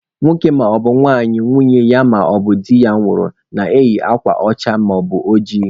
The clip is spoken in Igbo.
Nwoke maọbụ nwanyị nwunye ya maọbụ di ya nwụrụ na-eyi akwa ọcha maọbụ ojii.